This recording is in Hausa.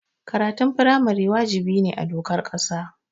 Karatun firamare wajibi ne a dokar ƙasa.